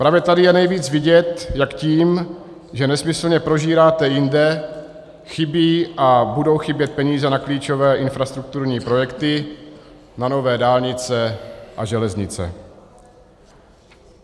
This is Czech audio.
Právě tady je nejvíc vidět, jak tím, že nesmyslně prožíráte jinde, chybějí a budou chybět peníze na klíčové infrastrukturní projekty, na nové dálnice a železnice.